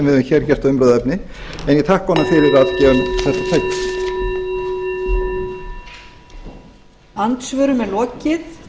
við höfum hér gert að umræðuefni á ég þakka honum fyrir að gefa mér þetta tækifæri